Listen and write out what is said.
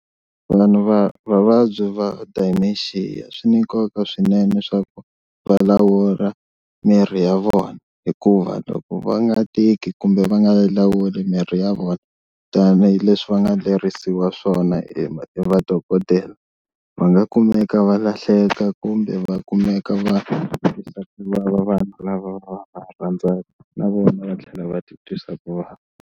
Vanhu va vavabyi va dementia swi ni nkoka swinene swa ku va lawula miri ya vona hikuva loko va nga tiki kumbe va nga lawula mirhi ya vona tanihileswi va nga lerisiwa swona hi madokodela, va nga kumeka va lahleka kumbe va kumeka va vanhu lava va va rhandzaka na vona va tlhela va ti twisa ku vava.